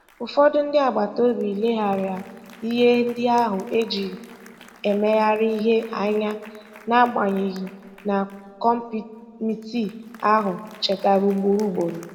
Ụfọdụ ndị agbata obi leghaara ihe ndị ahụ e ji emegharị ihe anya, n'agbanyeghị na kọmitii ahụ chetara ugboro ugboro.